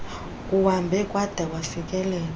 kuhambe kwada kwafikelela